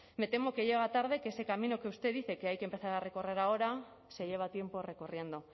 me temo que llega tarde que ese camino que usted dice que hay que empezar a recorrer se lleva tiempo recorriendo